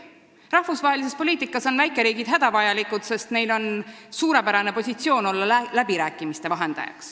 Rahvusvahelises poliitikas on väikeriigid hädavajalikud, sest neil on suurepärane positsioon – olla läbirääkimiste vahendajad.